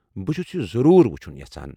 بہٕ چُھس یہِ ضروٗر وُچھُن یژھان ۔